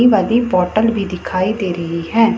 वाली बोतल भी दिखाई दे रही है--